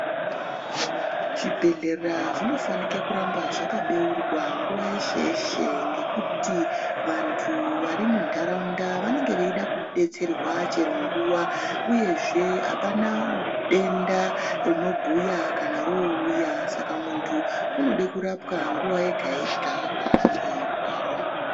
Zvibhedhlera zvanofanike kuramba zvakabeurwa nguva yeshe-yeshe, ngekuti vantu varimunharaunda vanoga vachida kubetserwa chero nguva, uyezve hapana denda rinobhuya kana rouya saka muntu unode kurapwa nguva ega-yega paanenge eirwara.